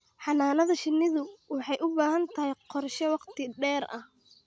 Xannaanada shinnidu waxay u baahan tahay qorshe wakhti dheer ah